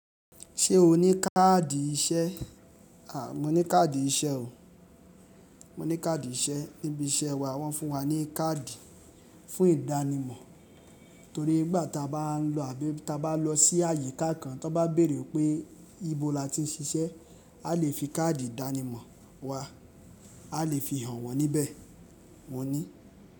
Ṣé o ní káàdì iṣẹ́? À, mo ní káàdì iṣẹ́ o. Mo ní káàdì iṣẹ́. Níbi iṣẹ́ wa wọ́n fún wa ní káàdì fún ìdánimọ̀ torí nígbà ta bá ń lọ àbí ta bá lọ sí àyíká kan, tí wọ́n bá béèrè pé ibo la ti ń ṣiṣẹ́, a lè fi káàdì ìdánimọ̀ wa. A lè fi hàn wọ́n níbẹ̀. Mo ní.